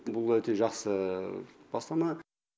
бұл өте жақсы бастама